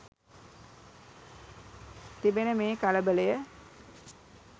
තිබෙන මේ කලබලය